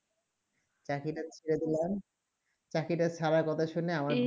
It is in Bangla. চাকরি টা ছেড়ে দিলাম চাকরি টা ছাড়ার কথা শুনে